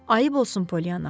Ayıb olsun Polyanna.